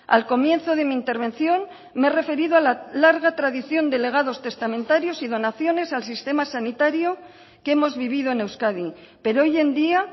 al comienzo de mi intervención me he referido a la larga tradición de legados testamentarios y donaciones al sistema sanitario que hemos vivido en euskadi pero hoy en día